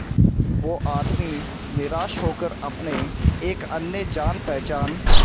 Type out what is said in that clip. वो आदमी निराश होकर अपने एक अन्य जान पहचान